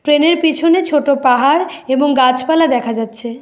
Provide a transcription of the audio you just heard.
ট্রেনের পিছনে ছোট পাহাড় এবং গাছপালা দেখা যাচ্ছে।